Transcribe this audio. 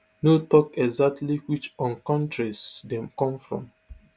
no tok exactly which um kontries dem come from